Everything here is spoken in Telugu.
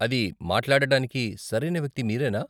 అది మాట్లాడటానికి సరైన వ్యక్తి మీరేనా?